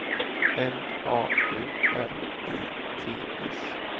M A U R I T S